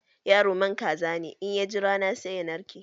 Yaro man kaza ne, in ya ji rana, sai ya narke.